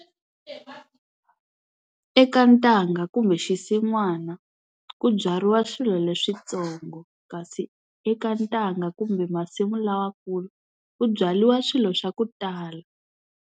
Eka ntanga kumbe xisin'wana ku byariwa swilo leswitsongo kasi eka ntanga kumbe masimu lamakulu ku byariwa swilo swa ku tala.